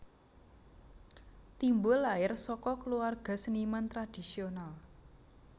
Timbul lair saka kluwarga seniman tradhisional